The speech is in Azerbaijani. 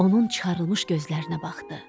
Onun çıxarılmış gözlərinə baxdı.